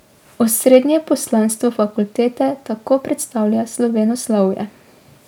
Osrednje poslanstvo fakultete tako predstavlja slovenoslovje.